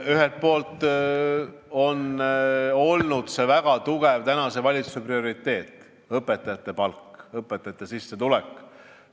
Ühelt poolt on olnud tänase valitsuse väga tugev prioriteet õpetajate palk, õpetajate sissetulek.